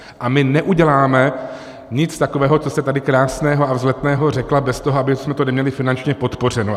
A my neuděláme nic takového, co jste tady krásného a vzletného řekla, bez toho, abychom to neměli finančně podpořeno.